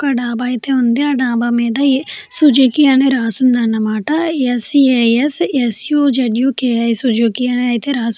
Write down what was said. ఒక డాబా అయితే ఉంది. ఆ డాబా మీద సుజుకి అని రాసి ఉంది అన్నమాట. S C S S U Z U K I అని అయితే రాసి --